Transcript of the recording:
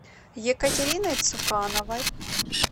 екатериной цукановой